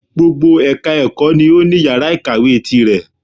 Gbogbo ẹka ẹ̀kọ́ ni o ní yàrá ìkàwé tirẹ̀.